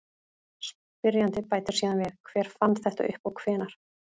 Spyrjandi bætir síðan við: Hver fann þetta upp og hvenær?